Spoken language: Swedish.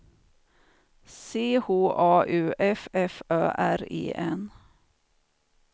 C H A U F F Ö R E N